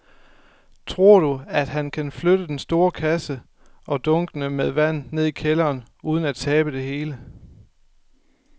Tror du, at han kan flytte den store kasse og dunkene med vand ned i kælderen uden at tabe det hele?